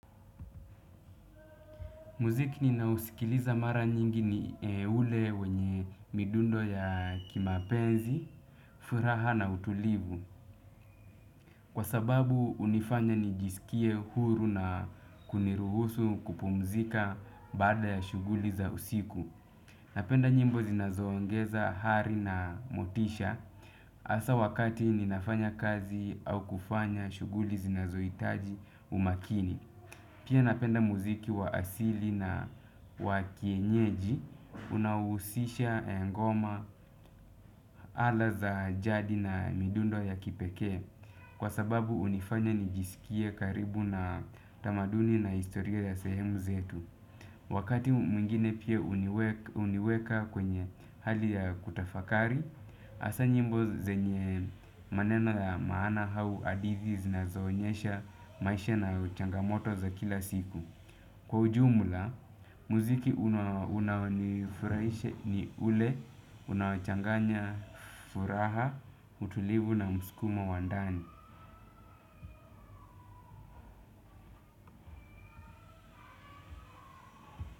Muziki ninaousikiliza mara nyingi ni ule wenye midundo ya kimapenzi, furaha na utulivu. Kwa sababu hunifanya nijisikie huru na kuniruhusu kupumzika baada ya shughuli za usiku. Napenda nyimbo zinazoongeza hari na motisha asa wakati ninafanya kazi au kufanya shuguli zinazoitaji umakini. Pia napenda muziki wa asili na wa kienyeji. Unaohusisha ngoma, ala za jadi na midundo ya kipekee, kwa sababu hunifanya nijisikie karibu na tamaduni na historia ya sehemu zetu. Wakati mwingine pia huniweka kwenye hali ya kutafakari. Hasa nyimbo zenye maneno ya maana au hadithi zinazoonyesha maisha na changamoto za kila siku. Kwa ujumula, muziki unaonifuraisha ni ule, unaochanganya furaha, utulivu na mskumo wa ndani.